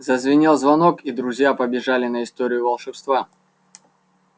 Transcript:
зазвенел звонок и друзья побежали на историю волшебства